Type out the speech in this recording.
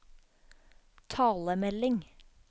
talemelding